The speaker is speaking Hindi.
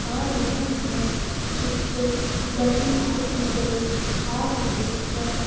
आ रहे हैं। पिक्चर ब्लैक एंड व्हाइट नज़र आ रहे हैं।